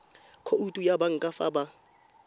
khoutu ya banka fa ba